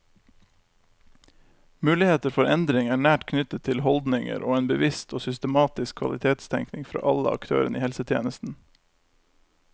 Muligheter for endring er nært knyttet til holdninger og en bevisst og systematisk kvalitetstenkning fra alle aktørene i helsetjenesten.